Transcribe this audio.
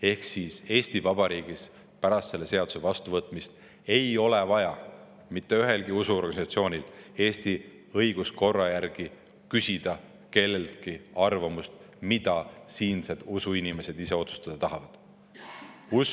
Ehk siis Eesti Vabariigis ei ole pärast selle seaduse vastuvõtmist mitte ühelgi usuorganisatsioonil Eesti õiguskorra järgi vaja küsida kelleltki arvamust selle kohta, mida siinsed usuinimesed ise otsustada.